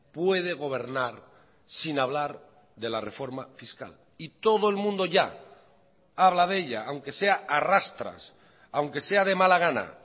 puede gobernar sin hablar de la reforma fiscal y todo el mundo ya habla de ella aunque sea a rastras aunque sea de mala gana